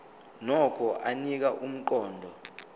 nokho anika umqondo